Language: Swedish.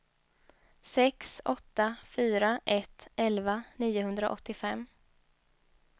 sex åtta fyra ett elva niohundraåttiofem